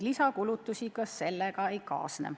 Lisakulutusi ka sellega ei kaasne.